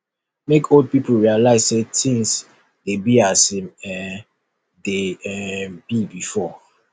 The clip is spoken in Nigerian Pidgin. make old pipo realise say things de be as im um de um be before